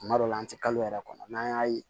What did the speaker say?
Kuma dɔw la an tɛ kalo yɛrɛ kɔnɔ n'an y'a ye